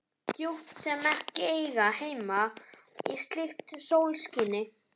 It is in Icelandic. Djúp sem ekki eiga heima í slíku sólskini.